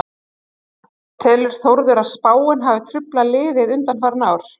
Telur Þórður að spáin hafi truflað liðið undanfarin ár?